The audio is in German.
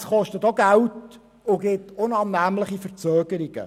Das kostet auch Geld und gibt unangenehme Verzögerungen.